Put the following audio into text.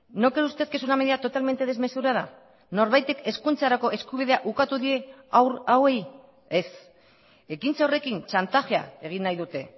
no cree usted que es una medida totalmente desmesurada norbaitek hezkuntzarako eskubidea ukatu die haur hauei ez ekintza horrekin txantajea egin nahi dute